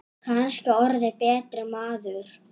Kannski orðið betri maður.